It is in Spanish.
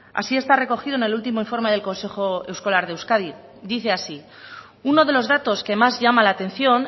así está recogido en el último informe del consejo escolar de euskadi dice así uno de los datos que más llama la atención